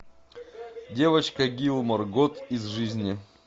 девочка гилмор год из жизни